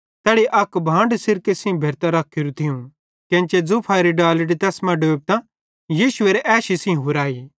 तैड़ी अक भांड सिरके सेइं भेरतां रखोरू थियूं केन्चे जूफेरी डालड़ी तैस मां डोबतां यीशुएरे ऐशी सेइं हुराई